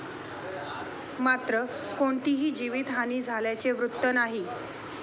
मात्र, कोणतीही जीवीतहानी झाल्याचे वृत्त नाही.